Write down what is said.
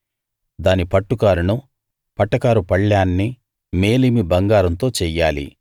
దాని పట్టుకారును పటకారు పళ్ళేన్ని మేలిమి బంగారంతో చెయ్యాలి